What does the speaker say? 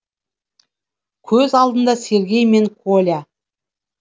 көз алдында сергей мен коля